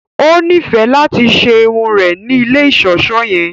O nifẹ lati ṣe irun rẹ ni ilé iṣọṣọ yẹn